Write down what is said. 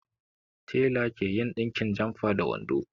Tela ke yin ɗinkin jamfa da wando